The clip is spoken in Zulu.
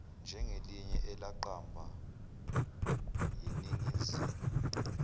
njengelinye elaqamba yiningizimu